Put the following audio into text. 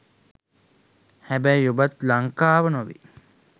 හැබැයි ඔබත් ලංකාව නොවෙයි